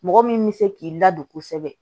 Mɔgɔ min bɛ se k'i ladon kosɛbɛ